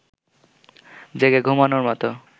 জেগে ঘুমোনোর মতো